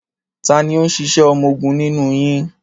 Ta ni ó ń ṣiṣẹ́ ọmọgun nínú yín?